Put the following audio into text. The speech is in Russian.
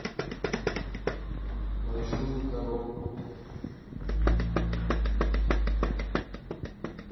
большую коробку